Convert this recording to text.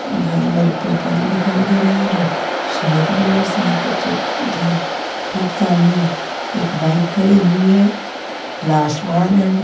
भरे भरे पेड़ पौधे दिखाई दे रहे हैं र सड़क भी है सड़क के ठीक उधर ठीक सामने एक बाइक खड़ी हुई है खुला आसमान है।